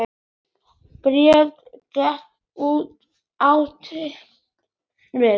Bríet getur átt við